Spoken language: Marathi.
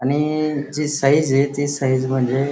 आणि जी साइज ती साइज म्हणजे--